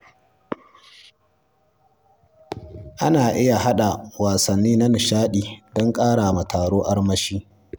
Ana iya haɗa wasanni na nishaɗi don ƙarawa taro armashi.